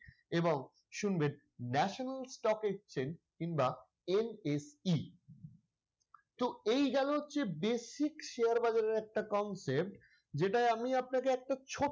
এবং শুনবেন National Stock Exchange কিংবা NSE তো এই গেলো হচ্ছে basic share বাজারের একটা concept যেটাই আমি আপনাকে একটা ছোট্ট,